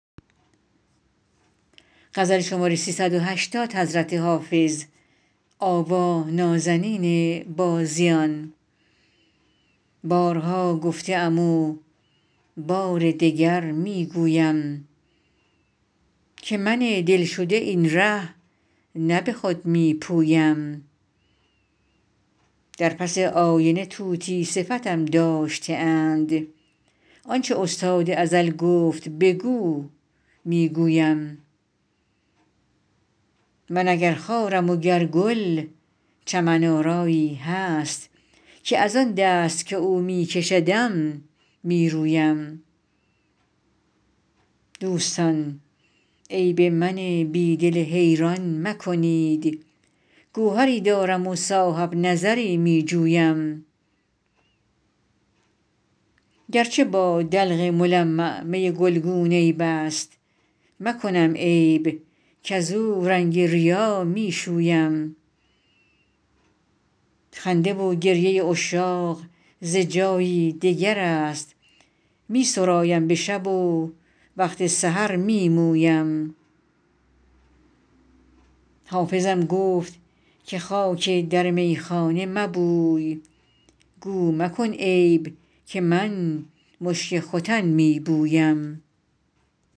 بارها گفته ام و بار دگر می گویم که من دل شده این ره نه به خود می پویم در پس آینه طوطی صفتم داشته اند آن چه استاد ازل گفت بگو می گویم من اگر خارم و گر گل چمن آرایی هست که از آن دست که او می کشدم می رویم دوستان عیب من بی دل حیران مکنید گوهری دارم و صاحب نظری می جویم گر چه با دلق ملمع می گلگون عیب است مکنم عیب کزو رنگ ریا می شویم خنده و گریه عشاق ز جایی دگر است می سرایم به شب و وقت سحر می مویم حافظم گفت که خاک در میخانه مبوی گو مکن عیب که من مشک ختن می بویم